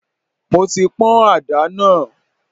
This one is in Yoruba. Mo ti pọn ada náà.